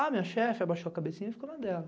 A minha chefe abaixou a cabecinha e ficou na dela.